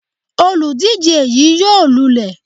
Olùdíje yí yóò lulẹ̀.